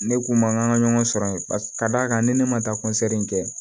Ne kun ma kan ka ɲɔgɔn sɔrɔ yen ka d'a kan ni ne ma taa kɔnsɛri in kɛ